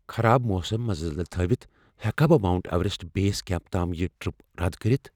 خراب موسم نظر تل تھٲوتھ ہیکا بہٕ ماونٹ ایوریسٹ بیس کمپس تام یہ ٹرٛپ رد کٔرتھ؟